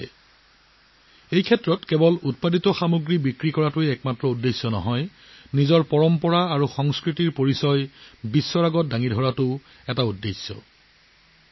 তেওঁলোকৰ উদ্দেশ্য কেৱল ছাতি আৰু অন্যান্য সামগ্ৰী বিক্ৰী কৰাই নহয় তেওঁলোকে নিজৰ পৰম্পৰা নিজৰ সংস্কৃতিৰ সৈতেও পৃথিৱীখনক পৰিচিত কৰি তুলিছে